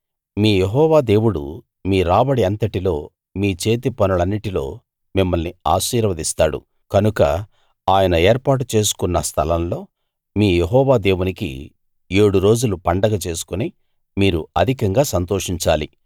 మీ Jehovah దేవుడు మీ రాబడి అంతటిలో మీ చేతిపనులన్నిటిలో మిమ్మల్ని ఆశీర్వస్తాడు కనుక ఆయన ఏర్పాటు చేసుకున్న స్థలం లో మీ యెహోవా దేవునికి ఏడురోజులు పండగ చేసుకుని మీరు అధికంగా సంతోషించాలి